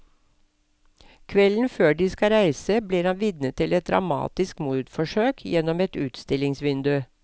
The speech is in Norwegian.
Kvelden før de skal reise blir han vitne til et dramatisk mordforsøk gjennom et utstillingsvindu.